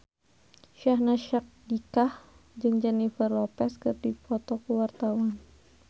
Syahnaz Sadiqah jeung Jennifer Lopez keur dipoto ku wartawan